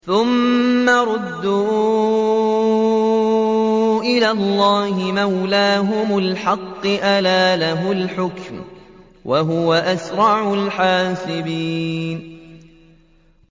ثُمَّ رُدُّوا إِلَى اللَّهِ مَوْلَاهُمُ الْحَقِّ ۚ أَلَا لَهُ الْحُكْمُ وَهُوَ أَسْرَعُ الْحَاسِبِينَ